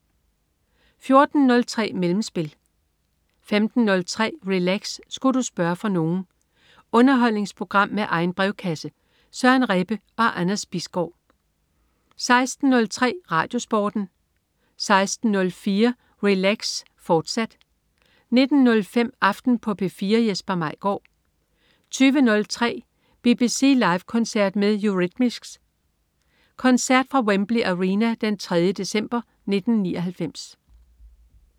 14.03 Mellemspil 15.03 Relax. Sku' du spørge fra nogen? Underholdningsprogram med egen brevkasse. Søren Rebbe og Anders Bisgaard 16.03 RadioSporten 16.04 Relax. Sku' du spørge fra nogen?, fortsat 19.05 Aften på P4. Jesper Maigaard 20.03 BBC Live koncert med Eurythmics. Koncert fra Wembley Arena den 3. december 1999